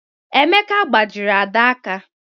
Emeka gbajiri Ada aka.